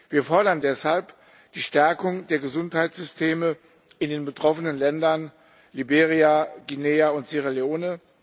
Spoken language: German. Wir fordern deshalb die Stärkung der Gesundheitssysteme in den betroffenen Ländern Liberia, Guinea und Sierra Leone.